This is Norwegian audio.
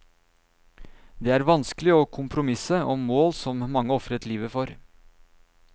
Det er vanskelig å kompromisse om mål som mange ofret livet for.